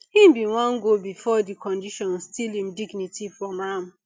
im bin wan go before di condition steal im dignity from am